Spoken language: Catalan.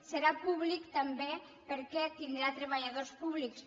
serà públic també perquè tindrà treballadors públics